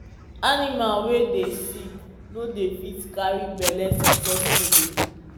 animal wey dey sick no dey fit carry belle succesfully